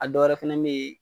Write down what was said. A dɔ wɛrɛ fɛnɛ be ye